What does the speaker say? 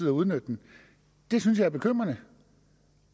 at udnytte den det synes jeg er bekymrende